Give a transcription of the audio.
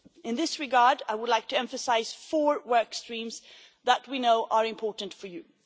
In this regard, I would like to emphasise four work streams that we know are important for you.